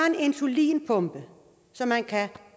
en insulinpumpe som man kan